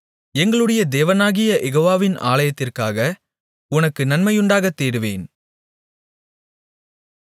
எங்களுடைய தேவனாகிய யெகோவாவின் ஆலயத்திற்காக உனக்கு நன்மையுண்டாகத் தேடுவேன்